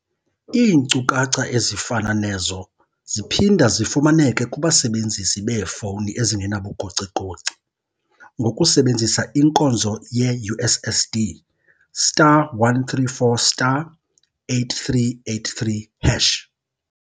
Iinkcukacha ezifana nezo ziphinda zifumaneke kubasebenzisi beefowuni ezingenabugocigoci ngokusebenzisa inkonzo yeUSSD star 134 star 8383 hash.